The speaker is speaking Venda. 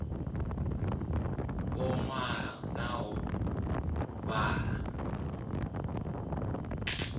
u ṅwala na u vhala